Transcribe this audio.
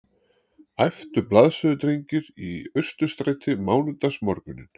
æptu blaðsöludrengir í Austurstræti mánudagsmorguninn